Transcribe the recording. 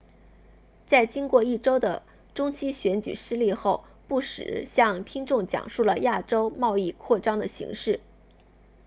在经过一周的中期选举失利后布什向听众讲述了亚洲贸易扩张的形势